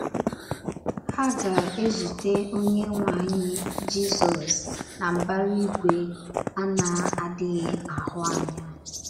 Ha ga - ezute Onyenwe anyị, Jizọs na mbara igwe a na - adịghị ahụ anya.